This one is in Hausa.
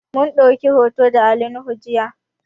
Mun ɗauki hoto da Ali nuhu jiya